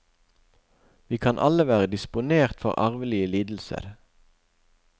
Vi kan alle være disponert for arvelige lidelser.